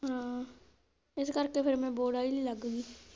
ਹਾਂ, ਇਸ ਕਰਕੇ ਫਿਰ ਮੈਂ ਬੋੜ੍ਹ ਚ ਹੀ ਲੱਗ ਗੀ।